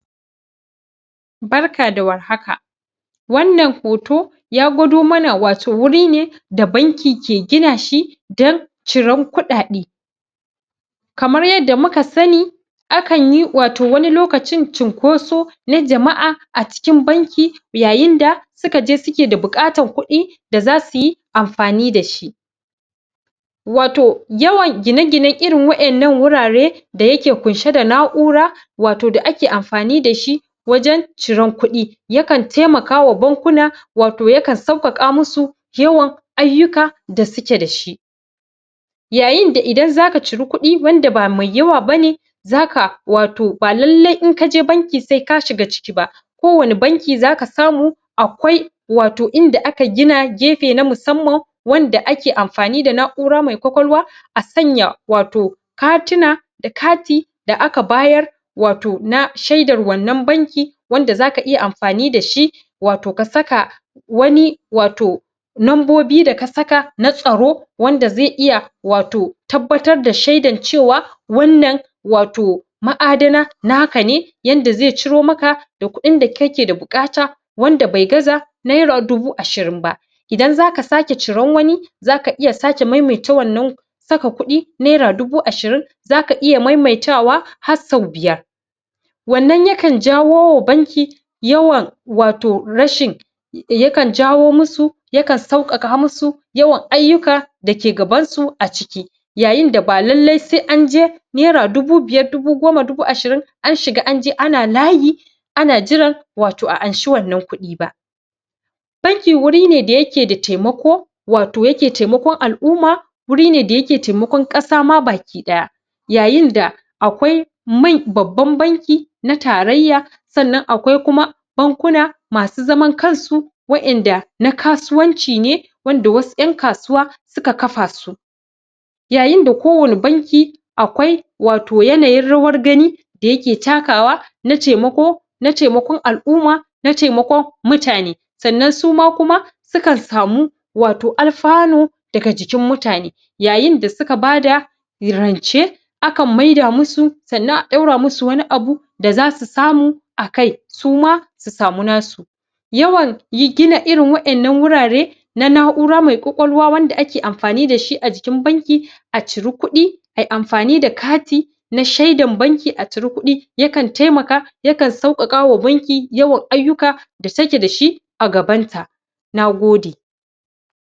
barka da war haka wannan hoto ya gwado mana wato wuri ne da banki ke gina shi dan ciran kuɗaɗe kamar yadda muka sani a kan yi wato wani lokacin cunkoso na jama'a a cikin banki yayin da suka je suke da buƙatar kuɗi da za su yi amfani da shi wato yawan gine ginen irin wa 'yannan wurare da yake kunshe da na'ura wato da ake amfani da shi wajen ciran kuɗi ya kan taimakawa bankuna wato ya kan sauƙaƙa musu yawan ayyuka da suke da shi yayinda idan zaka ciri kuɗi wanda ba mai yawa ba ne zaka wato ba lalle in kaje banki sai ka shiga ciki ba ko wane banki zaka samu akwai wato inda aka gina gefe na musamman wanda ake amfani da na'ura mai ƙwaƙwalwa a sanya wato katina da kati da aka bayar wato na shaidar wannan banki wanda zaka iya amfani da shi wato ka saka wani wato nombobi da ka saka na tsaro wanda zai iya wato tabbatr da shaidan cewa wannan wato ma'adana naka ne yanda zai ciro maka da kuɗin da kake da buƙata wanda bai gaza naira dubu ashirin ba idan zaka sake ciran wani zaka iya sake maimaita wannan saka kuɗi naira dubu ashirin zaka iya maimaita wa har sau biyar wannan ya kan jawo wa banki yawan wato rashin ya kan jawo musu ya kan sauƙaƙa musu yawan ayyuka dake gabansu a ciki yayin da ba lalle sai anje naira dubu biyar dubu goma dubu ashirin an shiga anje ana layi ana jiran wato a anshi wannan kuɗi ba banki wuri ne da yake da taimako wato take taimakon al'uma wuri ne da yake taimakon ƙasa ma baki ɗaya yayin da akwai man babban banki na tarayya sannan akwai kuma bankuna masu zaman kansu wa'yanda na kasuwanci ne wanda wasu 'yan kasuwa suka kafa su yayin da kowane banki akwai wato yanayin rawar gani da ya ke takawa na taimako na taimakon al'uma na taimakon mutane sannan suma kuma sukan samu wato alfano daga jikin mutane yayin da suka bada rance a kan maida musu sannan a daura musu wani abu da zasu samu a kai suma su samu nasu yawan yi gina irin waɗannan wurare na na'ura mai ƙwaƙwalwa wanda ake amfani da shi a jikin banki a ciri kuɗi ayi amfani da kati na shaidan banki a ciri kuɗi yakan taimaka yakan sauƙaƙawa banki yawan ayyuka da take da shi a gabanta nagode